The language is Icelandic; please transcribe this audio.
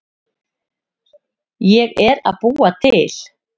Ég er að búa til.